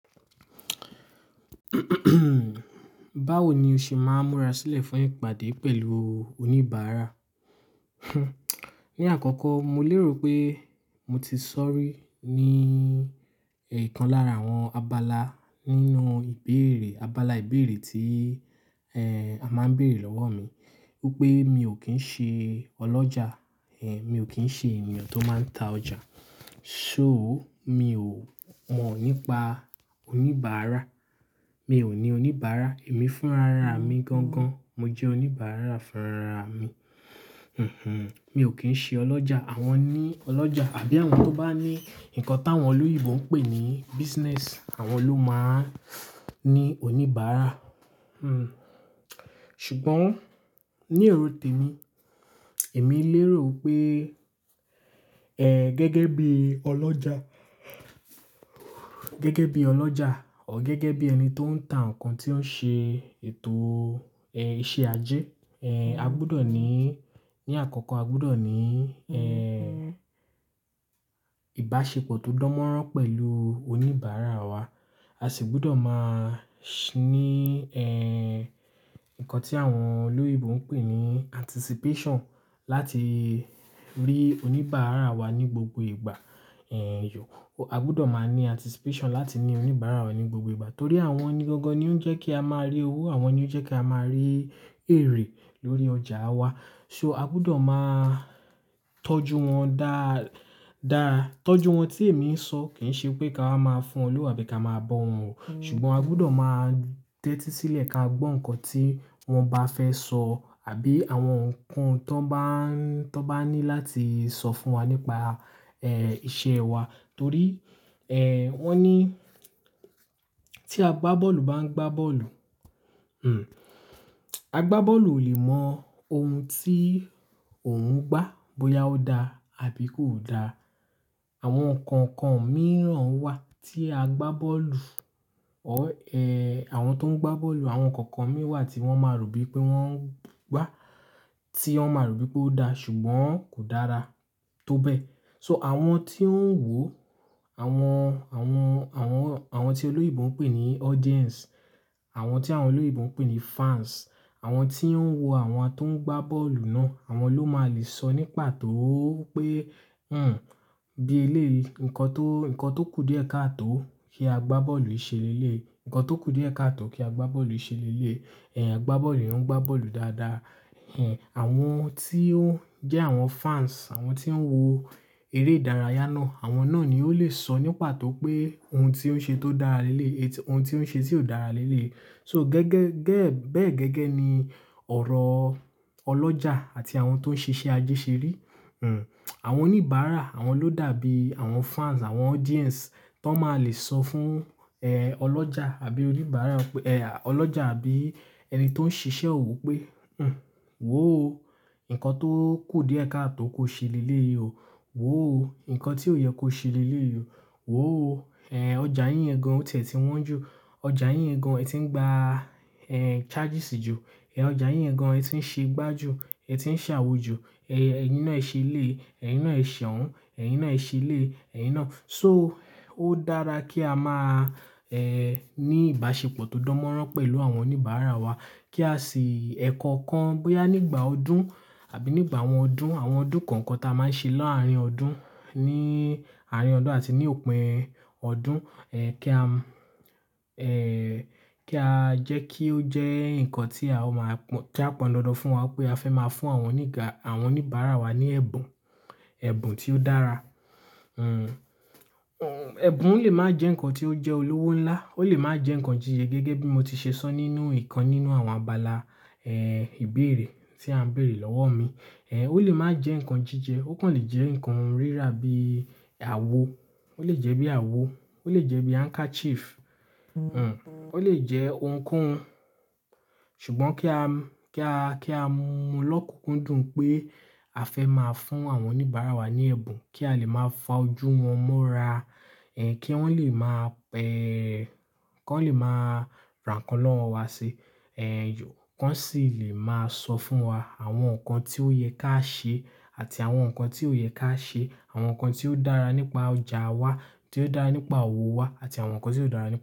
Báwo ni o ṣe máa ń múra sílẹ̀ fún ìpàdé pẹ̀lú oníbàárà? Ni àkọ́kọ́ mo lérò pé mo ti sọ́rí ní ìkan lára àwọn abala nínú ìbéèrè, abala ìbéèrè tí, a máa ń béèrè lọ́wọ́ mi wípé mi ò kí ń ṣe ọlọ́jà, eh mi ò kí ń ṣe ènìyàn tó máa ń ta ọjà. So, mi ò mọ̀ nípa oníbàárà, mi ò ní oníbàárà, èmi fúnra ra mi gangan, mo jẹ́ oníbàárà fúnra ra mi. Mi ò kí ń ṣe ọlọ́jà, àwọn ní ọlọ́jà àbí àwọn tó bá ní nǹkan táwọn olóyinbo ń pè ní business, àwọn ló máa ń ní oníbàárà. Sugbọ́n ní erò tèmi, èmi lérò pé, eh gẹ́gẹ́ bí ọlọ́jà, gẹ́gẹ́ bí ọlọ́jà or gẹ́gẹ́ bí ẹni tó ń ta nǹkan tí ó ń ṣe ètò eh iṣẹ́ ajé, eh a gbúdọ̀ ní, ní àkọ́kọ́ a gbúdọ̀ ní eh ìbáṣepọ̀ tó dánmọ́nrán pẹ̀lú oníbàárà wa. A sì gbúdọ̀ máa sh- ní eh nǹkan tí àwọn olóyinbo ń pè ní anticipation láti rí oníbàárà wa ní gbogbo ìgbà. Ehn yò, a gbúdọ̀ máa ní anticipation láti ní oníbàárà wa ní gbogbo ìgbà torí àwọn ni gangan ni ó ń jẹ́ kí a máa rí owó, àwọn ni ó jẹ́ kí a máa rí èrè lórí ọjà wa. So a gbúdọ̀ máa tọ́jú wọn dáa, dáa. Tọ́jú wọn tí èmi ń sọ kì ń ṣe pé ká máa máa fún wọn lówó àbí ká máa bọ wọ́n o. Ṣùgbọ́n a gbúdọ̀ máa tẹ́tí sílẹ̀ ká gbọ́ nǹkan tí wọ́n bá fẹ́ sọ àbí àwọn nǹkan tó bá ń, tó bá ní láti sọ fún wa nípa eh iṣẹ́ wa. Torí eh wọ́n ní tí agbábọ́ọ̀lù bá ń gbá bọ́ọ̀lù, agbábọ́ọ̀lù ò lè mọ ohun tí òun ń gbá bóyá ó dá àbí kò da. Àwọn nǹkan kan mìíràn wà tí agbábọ́ọ̀lù or ---eh àwọn tó ń gbá bọ́ọ̀lù, àwọn nǹkan kan mìíràn wà tí wọ́n máa rò bí i pé wọ́n ń gbá, tí wọ́n máa rò bí i pé ó dá ṣùgbọ́n kò dára tó bẹ́ẹ̀. So àwọn tí ń wò, àwọn, àwọn, àwọn, àwọn tí olóyinbo ń pè ní audience, àwọn tí àwọn olóyinbo ń pè ní fans, àwọn tí ń wo àwọn tó ń gbá bọ́ọ̀lù náà, àwọn ló máa lè sọ nípa tó pé. Bí eléyi, nǹkan tó, nǹkan tó kù díẹ̀ ká à tó kí agbábọ́ọ̀lù ṣe léleyi, nǹkan tó kù díẹ̀ ká à tó kí agbábọ́ọ̀lù ṣe léleyi Eh agbábọ́ọ̀lù ń gbá bọ́ọ̀lù dáadáa." Hinhin àwọn tí ó ń jẹ́ àwọn fans, àwọn tí ń wo eré ìdárayá náà, àwọn náà ni ó lè sọ nípató pé ohun tí ó ń ṣe tó dára léleyi, ohun tí ó ń ṣe tí ò dára léleyi So gẹ́gẹ́, gẹ́, bẹ́ẹ̀ gẹ́gẹ́ ni ọ̀rọ̀ ọlọ́jà àti àwọn tó ń ṣe iṣẹ́ ajé ṣe rí. Awọn oníbàárà, àwọn ló dàbí àwọn fans, àwọn audience tó máa lè sọ fún eh ọlọ́jà àbí oníbàárà pé-- eh ọlọ́jà àbí ẹni tó ń ṣiṣẹ́ òwò pé, Wo ó, nǹkan tó kù díẹ̀ ká à tó kó ṣe léleyi o. Wò ó, nǹkan tí ò yẹ kó ṣe léleyi o Wò ó, eh ọjà yín gan-an o ti e tí wọ́n jù, ọjà yín gan-an ẹ ti ń gba eh charges jù, ẹh ----ọjà yín gan-an ẹ ti ń ṣe gbá jù, ẹ ti ń ṣe awo ju, eh-- ẹ̀yin náà ṣe eleyi, ẹ̀yin náà ẹ̀ ṣe ohun, ẹ̀yin náà ṣe eleyi, ẹ̀yin náà." So ó dára kí a má a eh ní ìbáṣepọ̀ tó dánmọ́nrán pẹ̀lú àwọn oníbàárà wa kí a sì ẹ̀kọ̀kan bóyá nígbà ọdún àbí nígbà àwọn ọdún, àwọn ọdún kọ̀ọ̀kan tí a máa ń ṣe laarín ọdún, ní àárín ọdún àti ní òpin ọdún, eh kí a, eh kí á jẹ́ kí ó jẹ́ nǹkan tí a máa pọ̀n, kí a pọ̀n dandan fún wa pé a fẹ́ máa fún àwọn oníga, àwọn oníbàárà wa ní ẹ̀bùn, ẹ̀bùn tí ó dára. Ebùn lè máa jẹ́ nǹkan tí ó jẹ́ olówó ńlá, ó lè máa jẹ́ nǹkan jíjẹ gẹ́gẹ́ bí mo ti ṣe sọ nínú ìkan nínú àwọn abala eh ìbéèrè tí a ń béèrè lọ́wọ́ mi. Eh ó lè máa jẹ́ nǹkan jíjẹ, ó kàn lè jẹ́ nǹkan rírà bí àwo, ó lè jẹ́ bí àwo, ó lè jẹ́ bí handkerchief, ó lè jẹ́ ohunkóhun. Ṣùgbọ́n kí a, kí a, kí a mu lọ́kùnkúndùn pé a fẹ́ máa fún àwọn oníbàárà wa ní ẹ̀bùn kí a lè máa fa ojú wọn mọ́ra, eh kí wọ́n lè máa pe, kí wọ́n lè máa ra nkan ọ́wọ́ wa ṣi. Eh yò, wọ́n sì lè máa sọ fún wa àwọn nǹkan tí ó yẹ ká ṣe àti àwọn nǹkan tí ò yẹ ká ṣe, àwọn nǹkan tí ó dára nípa ọjà wa, tí ó dára nípa òwò wa àti àwọn nǹkan tí ó dára nipa.